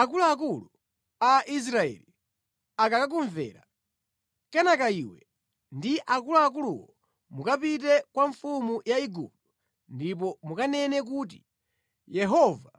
“Akuluakulu a Israeli akakumvera. Kenaka iwe ndi akuluakuluwo mukapite kwa mfumu ya Igupto ndipo mukanene kuti, ‘Yehova,